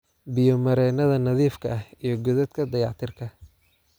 Biyo-mareennada nadiifka ah iyo godadka dayactirka